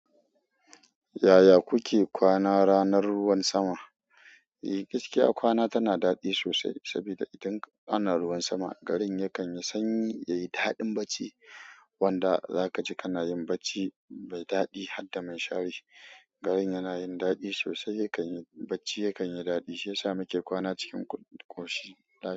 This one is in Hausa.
Yaya kuke kwana ranar ruwan sama? Eh gaskiya kwana tana daɗi sosai saboda idan ana ruwan sama, garin yakan yi sanyi, yayi daɗin bacci. Wanda za ka ji kana yin bacci mai daɗi, hadda minshari. Garin yana yin daɗi sosai yakan yi bacci yakan yi daɗi shiyasa muke kwana cikin ƙoshi.